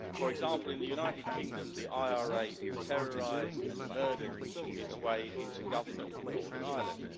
For example, in the United Kingdom, the IRA terrorised and murdered its way into government in Northern Ireland.